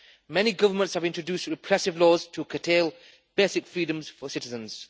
Many governments have introduced repressive laws to curtail basic freedoms for citizens.